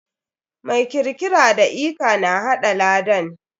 Mai kirkiara da lka na haɗa lakan.